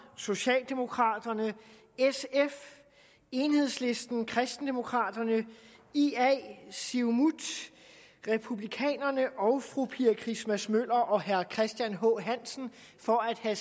socialdemokraterne sf enhedslisten og kristendemokraterne ia siumut republikanerne og fru pia christmas møller og herre christian h hansen for at have